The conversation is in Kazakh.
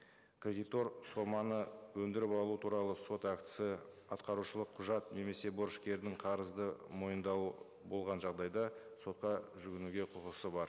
кредитор соманы өндіріп алу туралы сот актісі атқарушылық құжат немесе борышкердің қарызды мойындау болған жағдайда сотқа жүгінуге құқысы бар